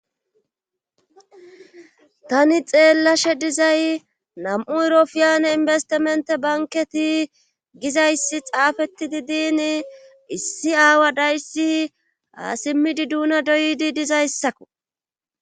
tani xeellashe dizay nam7u erofiyane inbestimente banketi gizayssi xaafeti di diin issi aawa dayssi aasimmidi duuna doydi dizayssakko